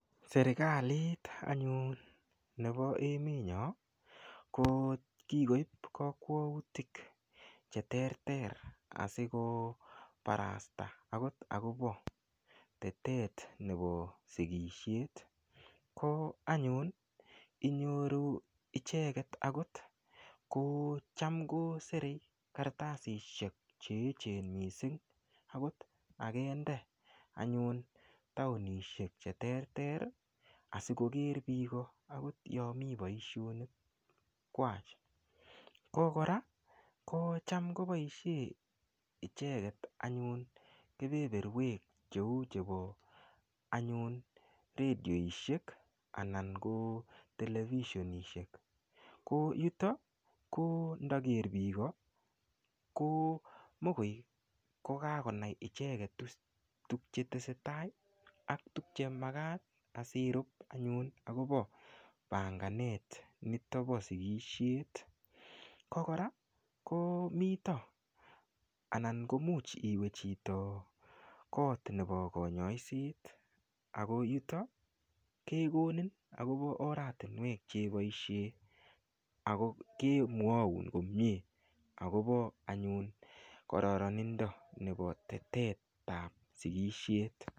Serikalit anyun nebo emet nyo ko kikoip kakwautik che ter ter asiko barasta akot akobo tetet nebo sikishet ko anyun inyoru icheket akot ko cham ko serei kartasishek che echen mising akot akende anyun taonishek che terter asikoker biko akot yo mii boishonik kwach ko kora ko cham koboishe icheket anyun kebeberwek cheu chebo anyun radioishek anan ko televishonishek ko yuto ko ndaker biiko ko mokoi kokakonai icheket tukchetesetai ak tukche makat asirup anyun akopo panganet nito bo sikishet ko kora komito anan ko muuch iwe chito koot nebo konyoiset ako yuto kekonin akobo oratinwek cheboishe ako kemwoun komie akobo anyun kororonindo nebo tetet ap sikishet.